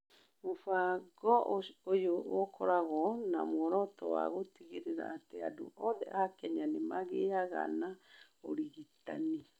Mũbango ũyũ ũkoragwo na muoroto wa gũtigĩrĩra atĩ andũ othe a Kenya nĩ magĩaga na ũrigitani.